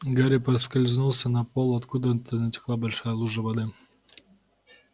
гарри поскользнулся на пол откуда-то натекла большая лужа воды